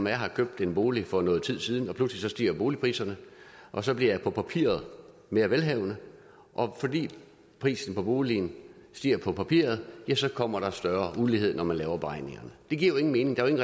jeg har købt en bolig for noget tid siden og pludselig stiger boligpriserne og så bliver jeg på papiret mere velhavende og fordi prisen på boligen stiger på papiret kommer der større ulighed når man laver beregningerne det giver jo ingen mening der er jo